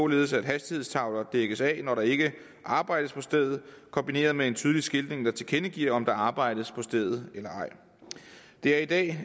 ved at hastighedstavler dækkes af når der ikke arbejdes på stedet kombineret med en tydelig skiltning der tilkendegiver om der arbejdes på stedet eller ej det er i dag